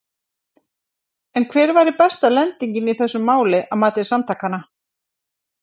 En hver væri besta lendingin í þessu máli að mati samtakanna?